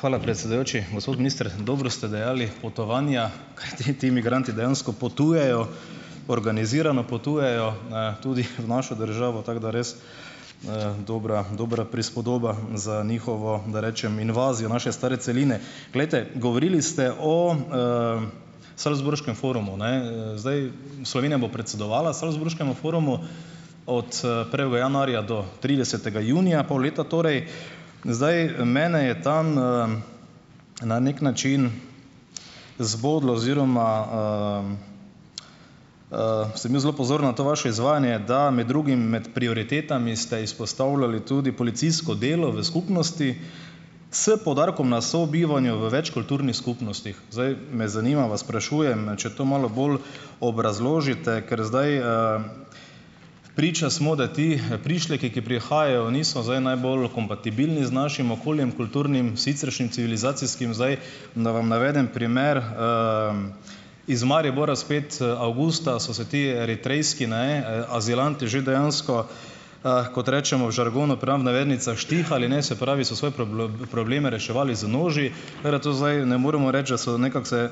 Hvala, predsedujoči. Gospod minister, dobro ste dejali: potovanja. Kajti, ti migranti dejansko potujejo, organizirano potujejo na tudi v našo državo, tako da res, dobra dobra prispodoba za njihovo, da rečem, invazijo naše stare celine. Glejte, govorili ste o salzburškem forumu, ne, zdaj. Slovenija bo predsedovala salzburškemu forumu od, prvega januarja do tridesetega junija, pol leta torej. Zdaj, mene je tam, na neki način zbodlo oziroma sem bil zelo pozoren na to vaše izvajanje, da med drugim med prioritetami ste izpostavljali tudi policijsko delo v skupnosti s poudarkom na sobivanju v več kulturnih skupnostih. Zdaj me zanima, vas sprašujem, ne, če to malo bolj obrazložite, ker zdaj, priča smo, da ti, prišleki, ki prihajajo, niso zdaj najbolj kompatibilni z našim okoljem kulturnim, siceršnjim, civilizacijskim zdaj, da vam navedem primer, iz Maribora spet, avgusta so se ti eritrejski, ne, azilanti že dejansko, kot rečemo v žargonu, pram navednicah, štihali, ne, se pravi, so svoje probleme reševali z noži. Tara to zdaj ne moremo reči, da so nekako se,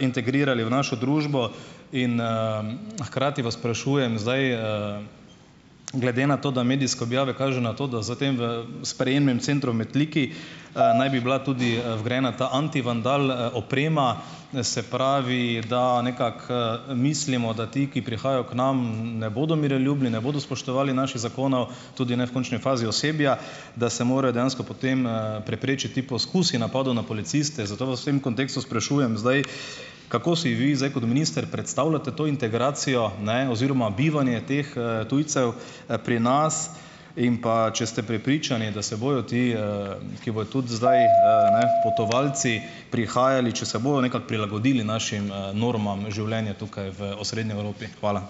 integrirali v našo družbo. In, hkrati vas sprašujem zdaj, glede na to, da medijske objave kažejo na to, da za tem v sprejemnem centru v Metliki, naj bi bila tudi, vgrajena ta antivandal, oprema, se pravi, da nekako, mislimo, da ti, ki prihajajo k nam, ne bodo miroljubni, ne bodo spoštovali naših zakonov, tudi ne v končni fazi osebja, da se morajo dejansko potem, preprečiti poskusi napadov na policiste. Zato vas v tem kontekstu sprašujem zdaj: Kako si vi zdaj kot minister predstavljate to integracijo, ne, oziroma bivanje teh, tujcev, pri nas? In pa, če ste prepričani, da se bojo ti, ki bojo tudi zdaj, ne, potovalci prihajali, če se bojo nekako prilagodili našim, normam življenja tukaj v osrednji Evropi? Hvala.